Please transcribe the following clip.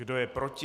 Kdo je proti?